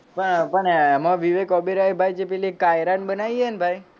પણ એમો વિવેક ઓબેરોયએ પેલી કાયરા ન બનાઈ હેન ભાઈ,